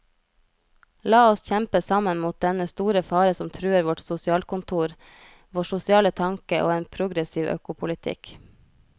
La oss kjempe sammen mot dennne store fare som truer vårt sosialkontor, vår sosiale tanke og en progressiv økopolitikk.